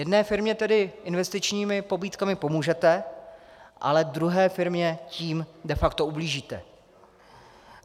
Jedné firmě tedy investičními pobídkami pomůžete, ale druhé firmě tím de facto ublížíte.